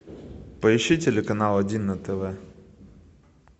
поищи телеканал один на тв